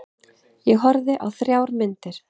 Ég horfði á þrjár myndir.